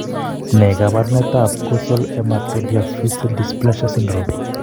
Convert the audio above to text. Ne kaabarunetap Ghosal hematodiaphyseal dysplasia syndrome?